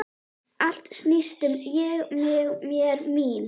Allt snýst um Ég, mig, mér, mín.